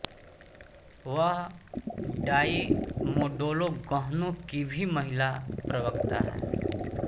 वह डाई मोडोलो गहनों की भी महिला प्रवक्ता है